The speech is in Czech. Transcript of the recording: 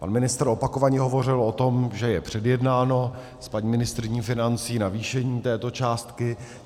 Pan ministr opakovaně hovořil o tom, že je předjednáno s paní ministryní financí navýšení této částky.